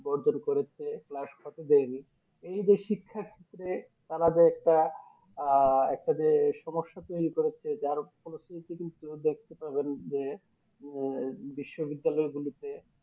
বদল করেছে Class হতে দেয়নি এই যে শিক্ষার ক্ষেত্রে তারা যে একটা আহ একটা যে সমস্যা তৌরি করেছে যার পরিস্থিতি কিন্তু দেখতে পাবেন যে আহ বিশ্ব বিদ্যালয় গুলিতে